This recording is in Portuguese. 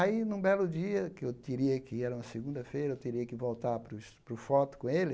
Aí, num belo dia, que eu teria era uma segunda-feira, eu teria que voltar para o foto com ele,